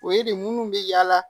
O ye de minnu bɛ yala